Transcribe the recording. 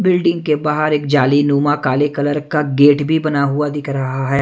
Building के बाहर एक जालीनुमा काले कलर का गेट भी बना हुआ दिख रहा है।